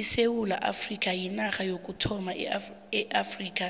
isewula afrikha yinarha yokuthoma eafrikha